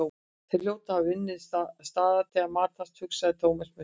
Þeir hljóta að hafa numið staðar til að matast, hugsaði Thomas með sér.